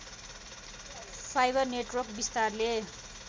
fibre network विस्तारले